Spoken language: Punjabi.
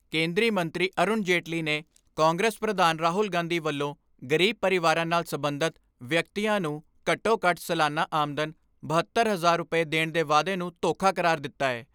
ਕੇਂਦਰੀ ਮੰਤਰੀ ਅਰੁਣ ਜੇਤਲੀ ਨੇ ਕਾਂਗਰਸ ਪ੍ਰਧਾਨ ਰਾਹੁਲ ਗਾਂਧੀ ਵੱਲੋਂ ਗਰੀਬ ਪਰਿਵਾਰਾ ਨਾਲ ਸਬੰਧਤ ਵਿਅਕਤੀਆਂ ਨੂੰ ਘੱਟੋ ਘੱਟ ਸਾਲਾਨਾ ਆਮਦਨ ਬਹੱਤਰ ਹਜ਼ਾਰ ਰੁਪਏ ਦੇਣ ਦੇ ਵਾਅਦੇ ਨੂੰ ਧੋਖਾ ਕਰਾਰ ਦਿੱਤਾ ਏ।